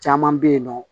Caman bɛ yen nɔ